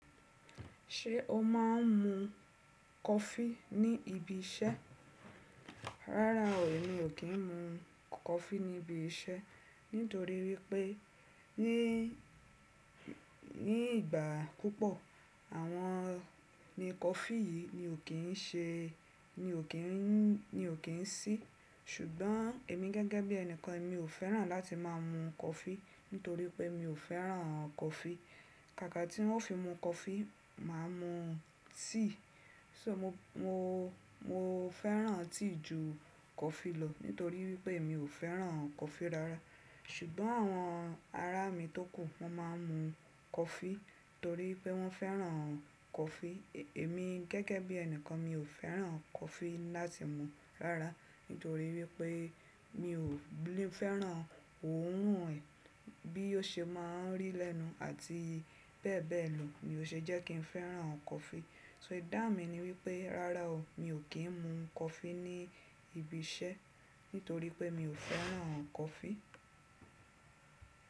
Ṣé o máa ń mu coffee ní ibi iṣẹ́? Rárá o, èmi ò kí ń mu coffee ní ibi iṣẹ́. Nítorí wípé ní, ní ìgbà púpọ̀ àwọn ni coffee yìí mi ò kí ń ṣe, mi ò kí ń, mi ò kí ń sí. Ṣùgbọ́n èmi gẹ́gẹ́ bí ẹnìkan mi ò fẹ́ràn láti máa mu coffee nítorí pé mi ò fẹ́ràn coffee. Kàkà tí wọ́n fi mu coffee, màá mu tea. So mo, mo, mo fẹ́ràn tea ju coffee lọ nítorí wípé mi ò fẹ́ràn coffee rárá. Ṣùgbọ́n àwọn ará mi tókù wọ́n máa ń mu coffee torí pé wọ́n fẹ́ràn coffee. Èmi gẹ́gẹ́ bí ẹnìkan mi ò fẹ́ràn coffee láti mu rárá nítorí wípé mi ò fẹ́ràn òórùn rẹ̀ bí ó ṣe máa ń rì lẹ́nu àti bẹ́ẹ̀bẹ́ẹ̀ lọ, ni ò ṣe jẹ́ kí n fẹ́ràn coffee. So ìdáhùn mi ni wípé rárá o, mi ò kí ń mu coffee ní ibi iṣẹ́ nítorí pé mi ò fẹ́ràn coffee.